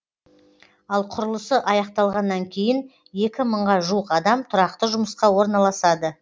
ал құрылысы аяқталғаннан кейін екі мыңға жуық адам тұрақты жұмысқа орналасады